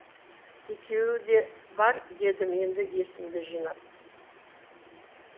екеуі де бар дедім енді есімді жинап